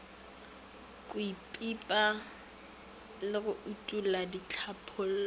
kwepipa le go utolla ditlhalopo